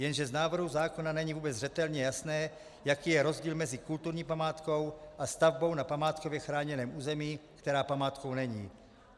Jenže z návrhu zákona není vůbec zřetelně jasné, jaký je rozdíl mezi kulturní památkou a stavbou na památkově chráněném území, která památkou není.